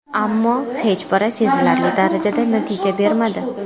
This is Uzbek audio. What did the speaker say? Ammo, hech biri sezilarli darajada natija bermadi.